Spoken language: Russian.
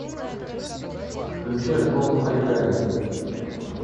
включи альбом хали гали